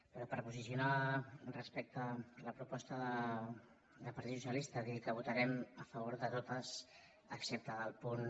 però per posicionar·nos respecte a la proposta del par·tit socialista dir que votarem a favor de totes excepte del punt